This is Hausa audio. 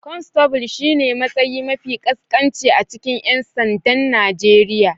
Constable shine matsayi mafi ƙasƙanci a cikin 'yan sandan Najeriya